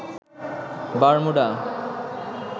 Bermuda